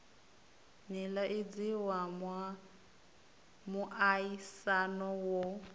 nila idzi wa muaisano wo